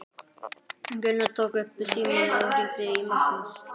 Gunnar tók upp símann og hringdi í Magnús.